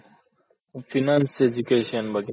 Finance Education ಬಗ್ಗೆ.